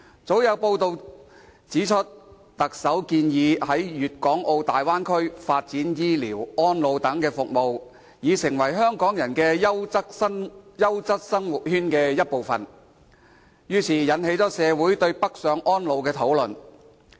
早前有報道指，特首建議在粵港澳大灣區發展醫療、安老等服務，使之成為香港人優質生活圈的一部分，於是，引起社會對北上安老的討論。